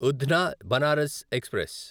Udhna Banaras express